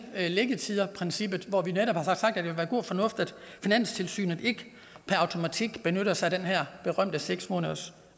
liggetidsprincippet hvor vi netop har sagt at og fornuftigt at finanstilsynet ikke per automatik benytter sig af den her berømte seks måneders